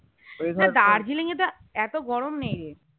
না দার্জেলিং তো এতো গরম নেই রে